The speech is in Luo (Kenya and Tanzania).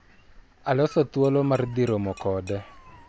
Aloso thuolo mar dhi romo kode.